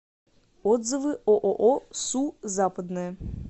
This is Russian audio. отзывы ооо су западное